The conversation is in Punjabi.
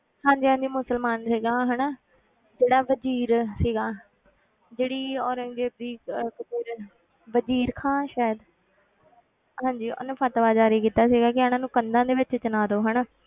ਹਾਂਜੀ ਹਾਂਜੀ ਮੁਸਲਮਾਨ ਸੀਗਾ ਹਨਾ ਜਿਹੜਾ ਵਜ਼ੀਰ ਸੀਗਾ ਜਿਹੜੀ ਔਰੰਗਜ਼ੇਬ ਦੀ ਅਹ ਵਜ਼ੀਰ ਵਜ਼ੀਰ ਖਾਂ ਸ਼ਾਇਦ ਹਾਂਜੀ ਉਹਨੇ ਫ਼ਤਵਾ ਜ਼ਾਰੀ ਕੀਤਾ ਸੀ ਕਿ ਇਹਨਾਂ ਨੂੰ ਕੰਧਾਂ ਦੇ ਵਿੱਚ ਚਿਣਵਾ ਦਓ ਹਨਾ